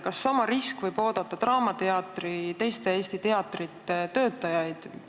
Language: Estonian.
Kas sama saatus võib oodata draamateatri ja teiste Eesti teatrite töötajaid?